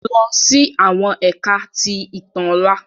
Lọ si awọn Ẹka ti Itan ọla!